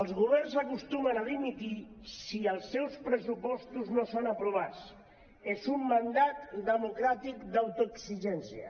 els governs acostumen a dimitir si els seus pressupostos no són aprovats és un mandat democràtic d’autoexigència